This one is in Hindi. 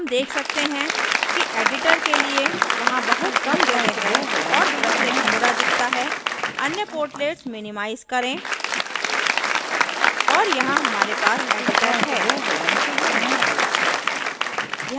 हम let सकते हैं कि editor के लिए वहाँ बहुत कम जगह है और दृश्य धुंधला दिखता है अन्य portlets minimize करें और यहाँ हमारे पास editor है